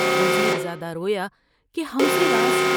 وزیر زادہ رویا کہ ہم سے راز